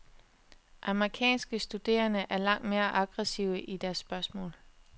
Amerikanske studerende er langt mere aggressive i deres spørgsmål.